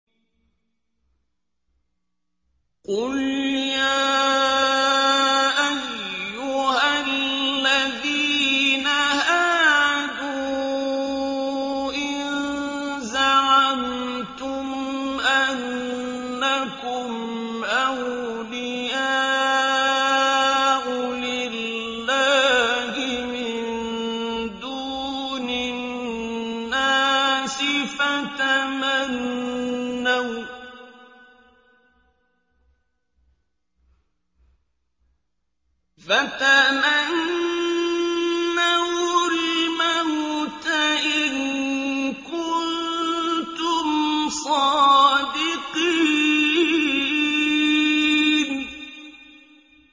قُلْ يَا أَيُّهَا الَّذِينَ هَادُوا إِن زَعَمْتُمْ أَنَّكُمْ أَوْلِيَاءُ لِلَّهِ مِن دُونِ النَّاسِ فَتَمَنَّوُا الْمَوْتَ إِن كُنتُمْ صَادِقِينَ